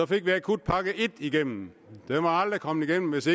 fik vi akutpakke en igennem den var aldrig kommet igennem hvis